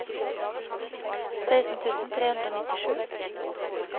seksten tusen tre hundre og nittisju